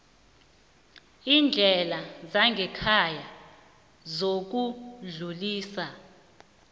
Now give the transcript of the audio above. iindlela zangekhaya zokudluliswa